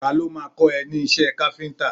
Ta ló má a kọ́ ẹ ní iṣẹ́ káfíntà?